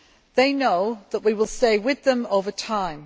They know that we will stay with them over time.